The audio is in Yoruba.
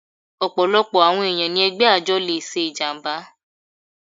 Ọ̀pọ̀lọpọ̀ àwọn ẹ̀yàn ni ẹgbẹ́ àjọ le ṣe ìjàmbá.